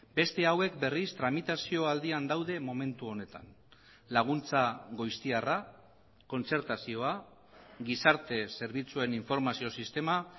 beste hauek berriz tramitazio aldian daude momentu honetan laguntza goiztiarra kontzertazioa gizarte zerbitzuen informazio sistema